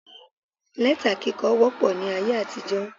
Lẹ́tà kíkọ wópọ̀ ní ayé àtijó